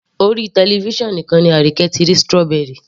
Orí television nìkan ni Arike ti rí strawy